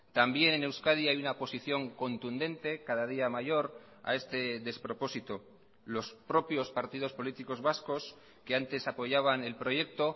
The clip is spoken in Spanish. también en euskadi hay una posición contundente cada día mayor a este despropósito los propios partidos políticos vascos que antes apoyaban el proyecto